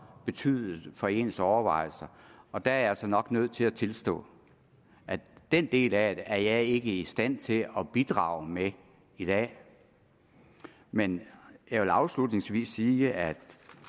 betydet for ens overvejelser og der er jeg altså nok nødt til at tilstå at den del af det er jeg ikke i stand til at bidrage med i dag men jeg vil afslutningsvis sige at